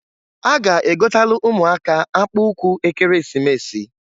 A ga-egotalụ ụmụaka akpụụkwụ Ekeresimesi.